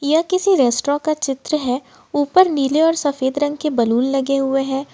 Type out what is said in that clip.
यह किसी रेस्ट्रा का चित्र है ऊपर नीले और सफेद रंग के बैलून लगे हुए हैं।